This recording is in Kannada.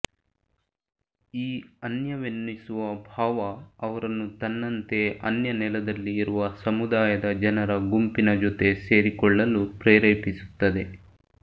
ಈ ಅನ್ಯವೆನ್ನಿಸುವ ಭಾವ ಅವರನ್ನು ತನ್ನಂತೆ ಅನ್ಯ ನೆಲದಲ್ಲಿ ಇರುವ ಸಮುದಾಯದ ಜನರ ಗುಂಪಿನ ಜೊತೆ ಸೇರಿಕೊಳ್ಳಲು ಪ್ರೇರೇಪಿಸುತ್ತದೆ